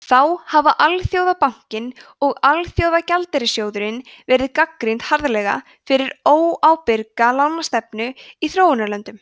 þá hafa alþjóðabankinn og alþjóðagjaldeyrissjóðurinn verið gagnrýndir harðlega fyrir óábyrga lánastefnu í þróunarlöndum